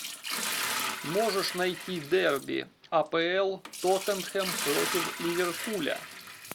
можешь найти дерби апл тоттенхэм против ливерпуля